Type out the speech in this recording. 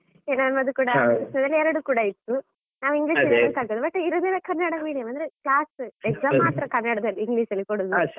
ಈಗ ನಮ್ಮದು ಕೂಡ ಹಾಗೇನೇ, ಎರಡು ಕೂಡ ಇತ್ತು. English medium ಅಲ್ಲಿ ಕಲ್ತದ್ದು, but ಇರುದೆಲ್ಲ ಕನ್ನಡ medium ಅಂದ್ರೆ class exam ಮಾತ್ರಾ ಕನ್ನಡಲ್ಲಿ English ಅಲ್ಲಿ ಕೊಡುದು.